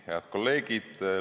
Head kolleegid!